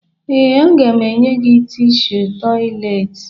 Ee, aga m enye gị tishu tọyịleetị